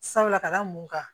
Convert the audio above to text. Sabula ka da mun kan